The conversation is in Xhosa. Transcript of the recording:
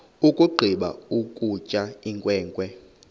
yakugqiba ukutya inkwenkwe